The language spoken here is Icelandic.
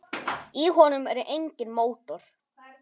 Í honum er enginn mótor.